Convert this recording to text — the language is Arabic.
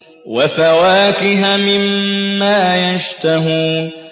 وَفَوَاكِهَ مِمَّا يَشْتَهُونَ